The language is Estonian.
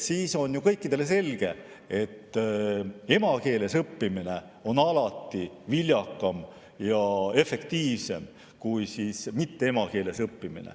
Kõikidele on selge, et emakeeles õppimine on alati viljakam ja efektiivsem kui mitteemakeeles õppimine.